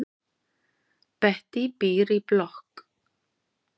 Bettý býr í blokk.